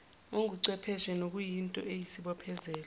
onguchwepheshe nokuyinto eyisibophezelo